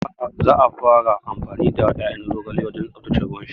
Za a fara amfani da ƴaƴan zogale wajen tsaftace ruwan sha